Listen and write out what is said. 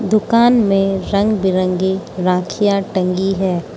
दुकान में रंग बिरंगी राखियां टंगी है।